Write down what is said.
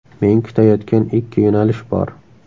Men kutayotgan ikki yo‘nalish bor.